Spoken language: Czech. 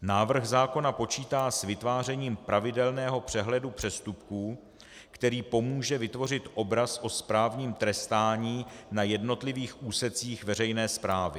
Návrh zákona počítá s vytvářením pravidelného přehledu přestupků, který pomůže vytvořit obraz o správním trestání na jednotlivých úsecích veřejné správy.